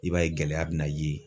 I b'a ye gɛlɛya bina ye